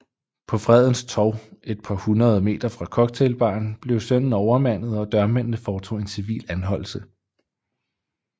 På Fredens Torv et par hundrede meter fra cocktailbaren blev sønnen overmandet og dørmændene foretog en civil anholdelse